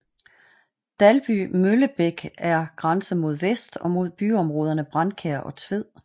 Dalby Møllebæk er grænse mod vest og mod byområderne Brændkjær og Tved